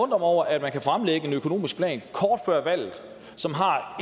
mig over at man kan fremlægge en økonomisk plan kort før valget som har